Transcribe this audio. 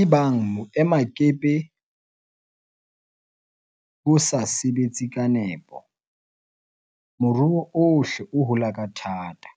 Ebang boemakepe bo sa sebetse ka nepo, moruo ohle o hula ka thata,